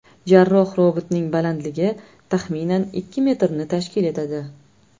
Jarroh-robotning balandligi, taxminan, ikki metrni tashkil etadi.